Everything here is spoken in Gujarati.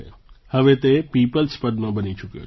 હવે તે પીપલ્સ પદ્મ બની ચૂક્યો છે